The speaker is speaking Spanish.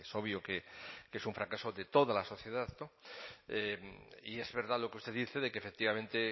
obvio que es un fracaso de toda la sociedad y es verdad lo que usted dice de que efectivamente